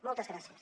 moltes gràcies